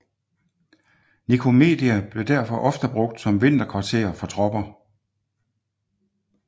Nikomedia blev derfor ofte brugt som vinterkvarter for tropper